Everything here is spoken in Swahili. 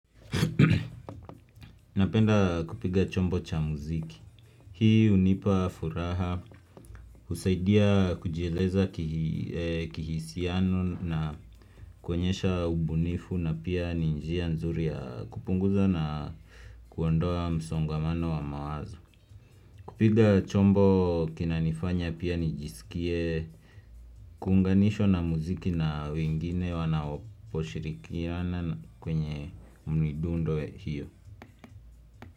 Napenda kupiga chombo cha muziki. Hii hunipa furaha, husaidia kujieleza kihisiano na kuonyesha ubunifu na pia ni njia nzuri ya kupunguza na kuondoa msongomano wa mawazo. Kupiga chombo kinanifanya pia nijisikie kuunganishwa na muziki na wengine wanaoposhirikiana kwenye midundo hiyo.